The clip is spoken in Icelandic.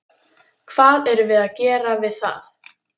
Hvað erum við að gera við það?